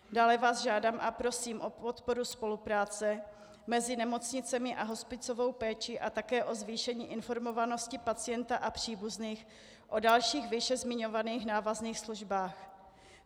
Dále vás žádám a prosím o podporu spolupráce mezi nemocnicemi a hospicovou péči a také o zvýšení informovanosti pacienta a příbuzných o dalších výše zmiňovaných návazných službách.